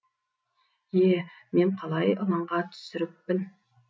е мен қалай ылаңға түсіріппін